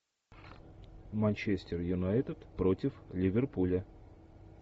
манчестер юнайтед против ливерпуля